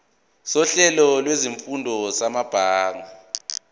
sohlelo lwezifundo samabanga